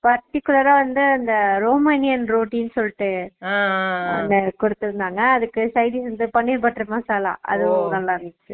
particular அ வந்து அந்த ரோமலின் ரொட்டி னு சொல்லிட்டு Noise அது குடுத்துருந்தாங்க அதுக்கு sidedish இந்த பனீர் butter மசாலா Noise அதுவும் நல்ல இருஞ்சு